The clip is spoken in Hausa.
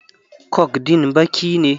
Coke din baki ne.